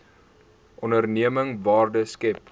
onderneming waarde skep